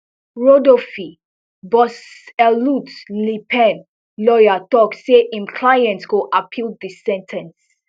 rodolphey boss elut le pen lawyer tok say im client go appeal di sen ten ce